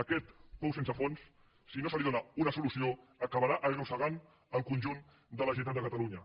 a aquest pou sense fons si no s’hi dóna una solució acabarà arrossegant el conjunt de la generalitat de catalunya